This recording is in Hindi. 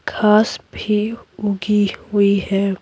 घास भी उगी हुई है।